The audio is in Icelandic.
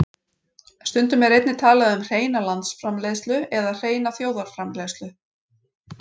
Stundum er einnig talað um hreina landsframleiðslu eða hreina þjóðarframleiðslu.